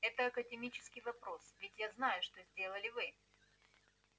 это академический вопрос ведь я знаю что сделали вы